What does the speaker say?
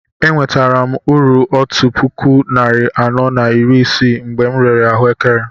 E nweretara uru otú puku narị anọ na iri isii mgbe m rere ahuekere